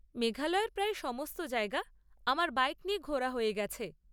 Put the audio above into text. মেঘালয়ের প্রায় সমস্ত জায়গা আমার বাইক নিয়ে ঘোরা হয়ে গেছে।